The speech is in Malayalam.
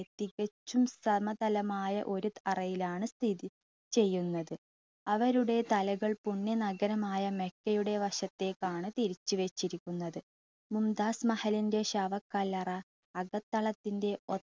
തികച്ചും സമതലമായ ഒരു അറയിലാണ് സ്ഥിതി ചെയ്യുന്നത്. അവരുടെ തലകൾ പുണ്യ നഗരമായ മെക്കെയുടെ വശത്തേക്കാണ് തിരിച്ചു വച്ചിരിക്കുന്നത്. മുംതാസ് മഹലിൻ്റെ ശവക്കല്ലറ അകത്തളത്തിൻ്റെ